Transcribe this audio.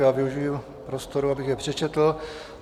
Já využiji prostoru, abych je přečetl.